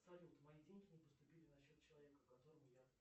салют мои деньги не поступили на счет человека которому я